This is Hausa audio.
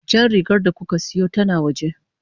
Jan rigar da kuka siyo tana waje.